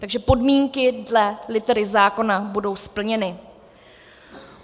Takže podmínky dle litery zákona budou splněny.